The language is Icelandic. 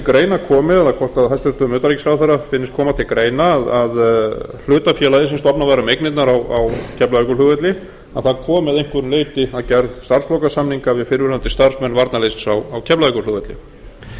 það hvort til greina komi eða hvort hæstvirtur utanríkisráðherra finnist koma til greina að hlutafélagið sem stofnað var um eignirnar á keflavíkurflugvelli komi að einhverju leyti að gerð starfslokasamninga við fyrrverandi starfsmenn varnarliðsins á keflavíkurflugvelli